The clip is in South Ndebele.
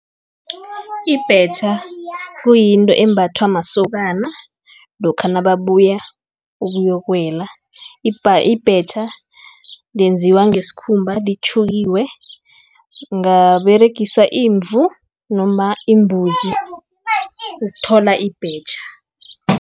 Ibhetjha, kuyinto embhathwa masokana, lokha nababuya ukuyokuwela. Ibhetjha yenziwe ngesikhumba litjhukiwe, ungaberegisa imvu noma imbuzi ukuthola ibhetjha.